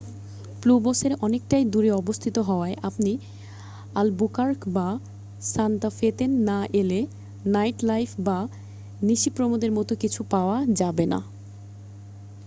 প্যুব্লোসের অনেকটাই দূরে অবস্থিত হওয়ায় আপনি আলবুকার্ক বা সান্তা ফে-তেন না এলে নাইটলাইফ' বা নিশিপ্রমোদের মতো কিছু পাওয়া যাবে না